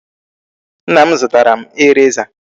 Nna m zụtara m eraser.